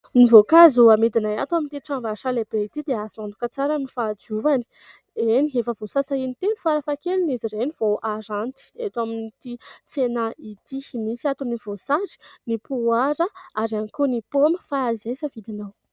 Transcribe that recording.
Ny voankazo hamidinay ato amin'ity tranombarotra ity dia azo antoka tsara ny fahadiovany, eny efa voasasa intelo farafaha keliny izy ireny vao haranty eto amin'ity tsena ity. Misy ato ny voasary, ny poara ary ihany koa paoma fa izay safidinao.